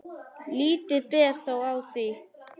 Lítið ber þó á því.